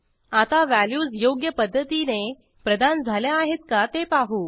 आता व्हॅल्यूज योग्य पध्दतीने प्रदान झाल्या आहेत का ते पाहू